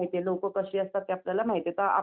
हो हो प्रसीद्ध देवस्थान आहे